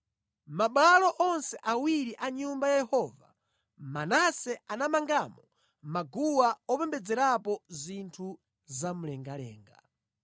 Mʼmabwalo onse awiri a Nyumba ya Yehova, Manase anamangamo maguwa opembedzerapo zinthu zamlengalenga.